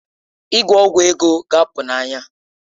Ịgwọ ọgwụ ego ga-apụ n'anya